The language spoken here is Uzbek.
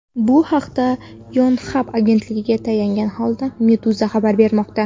Bu haqda Yonhap agentligiga tayangan holda Meduza xabar bermoqda .